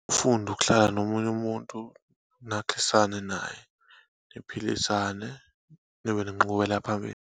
Ufunde ukuhlala nomunye umuntu, nakhisane naye, niphilisane, nibe nenqubekela phambili.